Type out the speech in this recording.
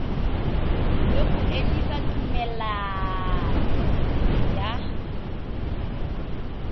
le go emisa tumelelano ya